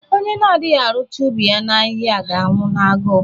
Onye na-adịghị arụcha ubi ya ahịhịa ga-anwụ n’agụụ.